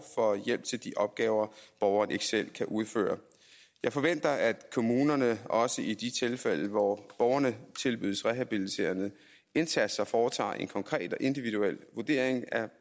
for hjælp til de opgaver borgeren ikke selv kan udføre jeg forventer at kommunerne også i de tilfælde hvor borgerne tilbydes rehabiliterende indsatser foretager en konkret og individuel vurdering af